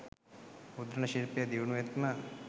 මුද්‍රණ ශිල්පය දියුණුවෙත්ම